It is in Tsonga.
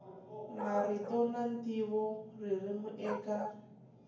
marito na ntivo ririmi eka